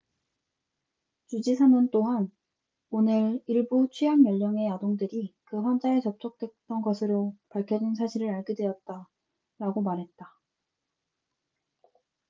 "주지사는 또한 "오늘 일부 취학 연령의 아동들이 그 환자와 접촉했던 것으로 밝혀진 사실을 알게 되었다""라고 말했다.